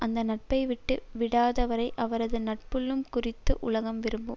அந்த நட்பை விட்டு விடாதவரை அவரது நட்புள்ளம் குறித்து உலகம் விரும்பும்